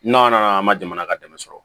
N'a nana an ma jamana ka dɛmɛ sɔrɔ